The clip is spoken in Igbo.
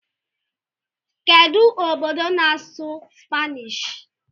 Kedu obodo na-asụ Spanish?